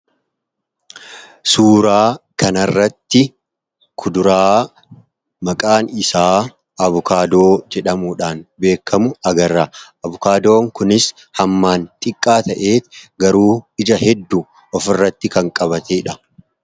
Suuraa kana irratti kuduraa maqaan isaa avokaadoo jedhamuudhaan beekamu agarra. Avokaadoon kunis hammaan xiqqaa ta'ee, garuu ija hedduu of irratti kan qabateedha.